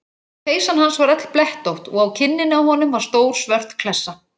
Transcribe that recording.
Peysan hans var öll blettótt og á kinninni á honum var stór svört klessa.